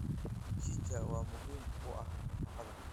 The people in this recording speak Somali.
Mchichaa waa muhiim u ah nafaqada.